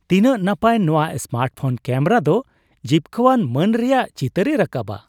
ᱛᱤᱱᱟᱹᱜ ᱱᱟᱯᱟᱭ ! ᱱᱚᱶᱟ ᱥᱢᱟᱨᱴᱯᱷᱳᱱ ᱠᱮᱹᱢᱮᱨᱟ ᱫᱚ ᱡᱤᱵᱠᱟᱹᱣᱟᱱ ᱢᱟᱹᱱ ᱨᱮᱭᱟᱜ ᱪᱤᱛᱟᱹᱨᱮ ᱨᱟᱠᱟᱵᱟ ᱾